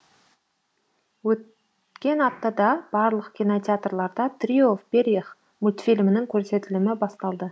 өт кен аптада барлық кинотеатрларда трио в перьях мультфильмінің көрсетілімі басталды